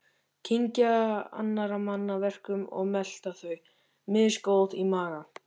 Kyngja annarra manna verkum og melta þau, misgóð í maga.